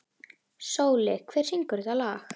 Sóli, hver syngur þetta lag?